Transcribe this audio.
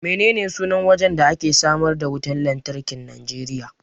Menene sunan wajen da ake samar da wutan lantarkin Nijeriya?